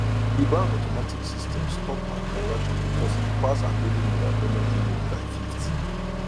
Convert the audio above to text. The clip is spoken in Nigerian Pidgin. di bank automatic system stop her transaction because e pass her daily mobile payment limit by 50